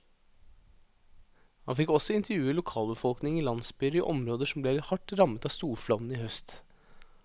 Han fikk også intervjue lokalbefolkningen i landsbyer i områder som ble hardt rammet av storflommen i høst.